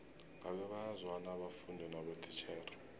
ngabe bayazwana abafundi nabotitjhere